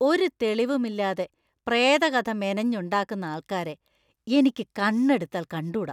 ഒരു തെളിവും ഇല്ലാതെ പ്രേതകഥ മെനഞ്ഞുണ്ടാക്കുന്ന ആൾക്കാരെ എനിക്ക് കണ്ണെടുത്താൽ കണ്ടൂടാ.